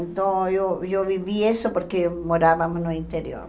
Então, eu eu vivi isso porque morávamos no interior.